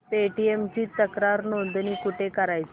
Paytm ची तक्रार नोंदणी कुठे करायची